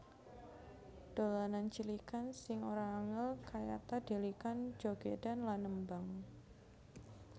Dolanan cilikan sing ora angel kayata dhelikan jogedan lan nembang